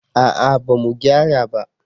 a'a ba mu gyara ba